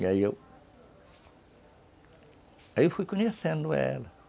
E aí eu... Aí eu fui conhecendo ela.